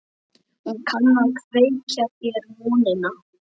Hún kann að kveikja þér vonina.